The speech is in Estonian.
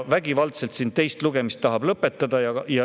Vägivaldselt tahetakse teine lugemine lõpetada.